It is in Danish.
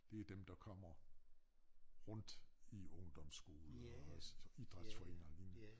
Det dem der kommer rundt i ungdomsskoler og også idrætsforeninger og lignende